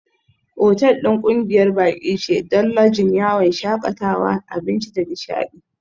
Otal ɗin ƙungiyar baƙi ce don Lodging, yawon shakatawa, abinci da nishaɗi.